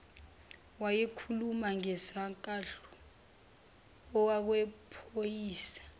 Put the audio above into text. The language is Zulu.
wayekhuluma ngesankahlu okwephoyisa